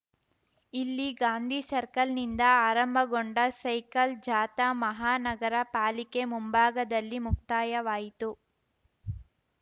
ಇಲ್ಲಿ ಗಾಂಧಿ ಸರ್ಕಲ್‌ನಿಂದ ಆರಂಭಗೊಂಡ ಸೈಕಲ್‌ ಜಾಥಾ ಮಹಾನಗರ ಪಾಲಿಕೆ ಮುಂಭಾಗದಲ್ಲಿ ಮುಕ್ತಾಯವಾಯಿತು